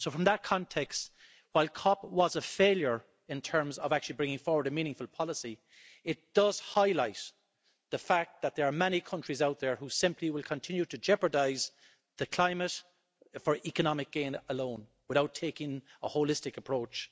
So from that context, while COP was a failure in terms of actually bringing forward a meaningful policy, it does highlight the fact that there are many countries out there which simply will continue to jeopardise the climate for economic gain alone, without taking a holistic approach.